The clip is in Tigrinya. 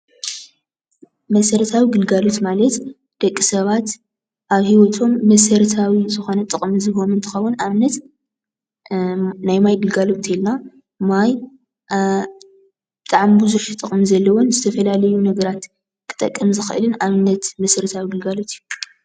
መሰረታዊ ግልጋሎት ማለት ደቂ ሰባት ኣብ ሂወቶም መሰረታዊ ዝኮነ ጥቅሚ ዝህቦም እንትከውን ንኣብነት ናይ ማይ ግልጋሎት እንተልና ማይ ብጣዓሚ ቡዝሕ ጥቅም ዘለዎን ዝተፋላለዩን ነገራት ክጠቅም ዝክእልን ኣብነት መሰረት ግልጋሎት እዩ።